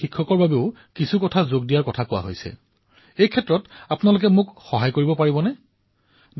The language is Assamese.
কিন্তু মই আপোনালোককো আহ্বান জনাম যে আপোনালোকে মোক সহায় কৰিব পাৰিবনে দৈনন্দিন জীৱনত আপোনালোকে কেনে ধৰণৰ অভিজ্ঞতা লাভ কৰে